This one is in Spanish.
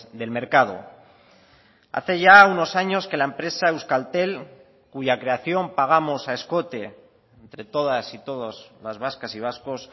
del mercado hace ya unos años que la empresa euskaltel cuya creación pagamos a escote entre todas y todos las vascas y vascos